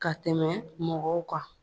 Ka tɛmɛ mɔgɔw kan